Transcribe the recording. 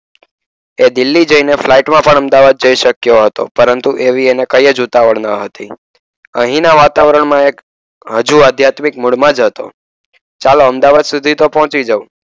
એ દિલ્હી જઈને ફ્લાઇટમાં પણ અમદાવાદ જઈ શક્યો હતો. પરંતુ એવી એને કહીએ જ ઉતાવળ ન હતી. અહીંના વાતાવરણમાં હજુ આધ્યાત્મિક મૂળમાં જ હતું. ચાલો અમદાવાદ સુધી તો પહોંચી જવું